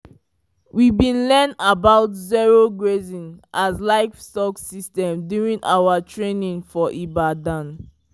we bi learn about zero grazing as livestock system during our training for ibadan